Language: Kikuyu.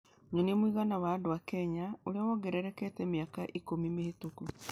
Nyonia mũigana wa andũ a Kenya ũrĩa wongererekete mĩaka ikũmi mĩhĩtũku